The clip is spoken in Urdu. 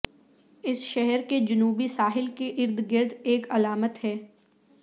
اس شہر کے جنوبی ساحل کے ارد گرد ایک علامت ہے